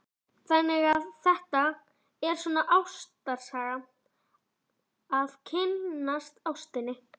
Erla: Þannig að þetta er svona ástarsaga, að kynnast ástinni?